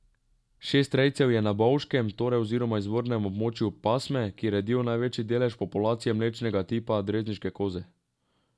Šest rejcev je na Bovškem, torej izvornem območju pasme, ki redijo največji delež populacije mlečnega tipa drežniške koze.